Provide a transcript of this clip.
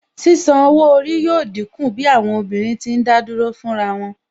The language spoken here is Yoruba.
Sísan owó orí yóò dínkù bí àwọn obìnrin tí ń dádúró fún ra wọn